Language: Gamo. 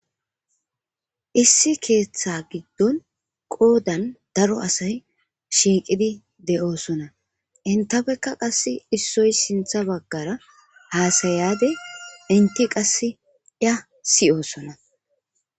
Issi keeththa giddon qoodan daro asay shiiqidi de'oosona intafekka qass issoy sintha baggara haasayade inti qasse iya siyoosona.